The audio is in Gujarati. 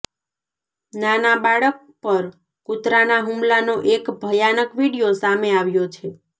નાના બાળક પર કૂતરાના હૂમલાનો એક ભયાનક વીડિયો સામે આવ્યો છે